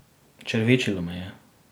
Črvičilo me je.